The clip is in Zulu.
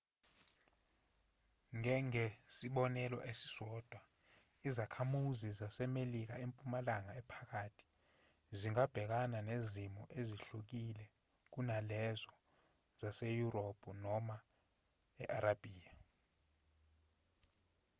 ngengesibonelo esisodwa izakhamuzi zasemelika empumalanga ephakathi zingabhekana nezimo ezihlukile kunalezo zaseyurophu noma e-arabiya